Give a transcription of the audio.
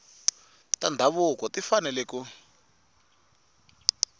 ta ndhavuko ti fanele ku